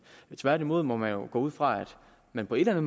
tværtimod må man jo gå ud fra at man på en